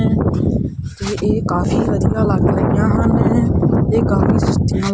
ਤੇ ਇਹ ਕਾਫੀ ਵਧੀਆ ਲੱਗ ਰਾਹੀਆਂ ਹਨ ਇਹ ਕਾਫੀ ਸੂਚੀਆਂ--